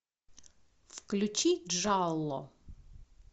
включи джалло